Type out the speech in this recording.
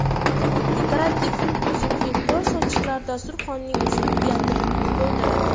Dekorativ uzukli qo‘l sochiqlar dasturxonning uslubiyatini to‘ldiradi.